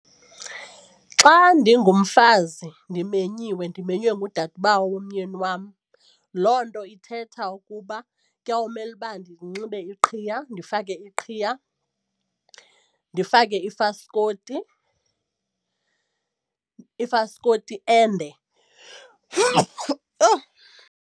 Xa ndingumfazi ndimenyiwe ndimenywe ngudadobawo womyeni wam loo nto ithetha ukuba kuya kumele uba ndinxibe iqhiya ndifake iqhiya, ndifake ifaskoti ifaskoti ende .